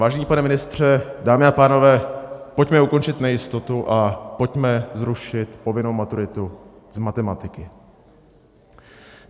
Vážený pane ministře, dámy a pánové, pojďme ukončit nejistotu a pojďme zrušit povinnou maturitu z matematiky.